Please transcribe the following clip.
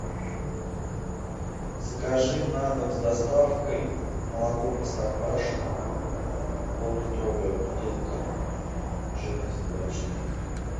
закажи на дом с доставкой молоко простоквашино поллитровая бутылка жирность два и четыре